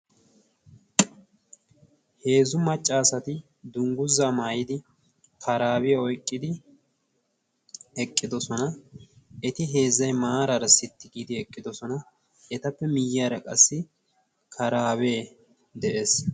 Heezzu maccaasati dungguza maayidi karaabiya oyqqidi eqqidosona. eti heezzay maaraara sitti giidi eqqidosona. etappe miyyyaara qassi karaabee de'ees.